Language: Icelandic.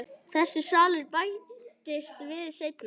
Þessi salur bættist við seinna.